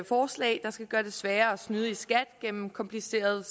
forslag der skal gøre det sværere at snyde i skat gennem komplicerede